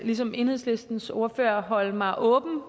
ligesom enhedslistens ordfører forholde mig åbent